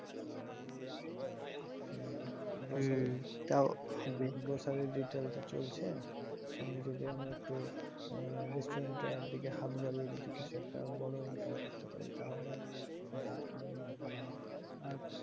grocery retail তো চলছে সঙ্গে যদি আমি একটু আহ restaurant এর দিকে হাত বাড়িয়ে যদি কিছু একটা বড় income করতে পারি তাহলে আহ আমার মনে হয় ভাল হবে আর,